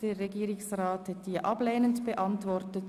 Der Regierungsrat hat sie ablehnend beantwortet.